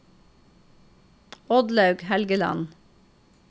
Oddlaug Helgeland